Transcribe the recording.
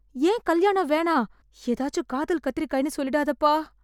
ஏன் கல்யாணம் வேணாம்? ஏதாச்சு காதல் கத்திரிக்காய்ன்னு சொல்லிடாதப்பா.